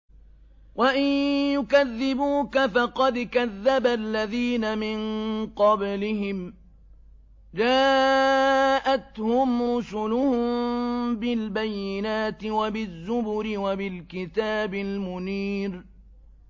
وَإِن يُكَذِّبُوكَ فَقَدْ كَذَّبَ الَّذِينَ مِن قَبْلِهِمْ جَاءَتْهُمْ رُسُلُهُم بِالْبَيِّنَاتِ وَبِالزُّبُرِ وَبِالْكِتَابِ الْمُنِيرِ